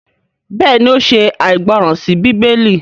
béèni o ṣe aìgbọràn sí Bíbélì.